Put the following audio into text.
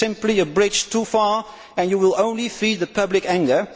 It is simply a bridge too far and you will only feed public anger.